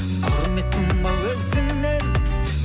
құрметтім ау өзіңнен